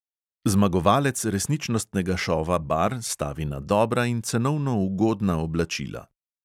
Zmagovalec resničnostnega šova bar stavi na dobra in cenovno ugodna oblačila.